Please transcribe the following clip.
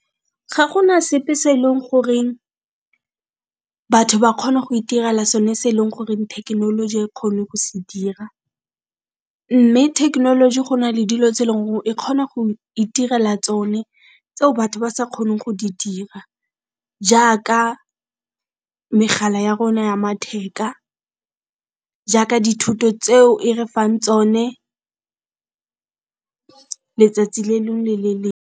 Ga gona sepe se e leng gore batho ba kgone go itirela so ne se e leng gore thekenoloji ga e kgone go se dira, mme thekenoloji go na le dilo tse e leng gore e kgona go itirela tsone tseo batho ba sa kgoneng go di dira jaaka megala ya rona ya matheka, jaaka dithuto tseo e re fang tsone letsatsi le lengwe le le .